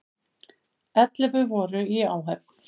Ellefu voru í áhöfn.